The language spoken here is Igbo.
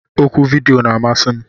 Oku vidiyo na-amasị m.